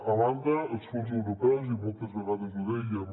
a banda els fons europeus i moltes vegades ho dèiem